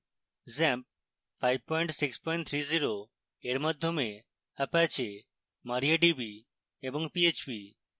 xampp 5630 এর মাধ্যমে apache mariadb এবং php